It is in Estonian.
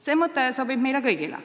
" See mõte sobib meile kõigile.